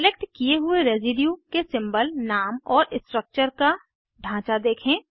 select किये हुए residue के सिंबल नाम और स्ट्रक्चर का ढांचा देखें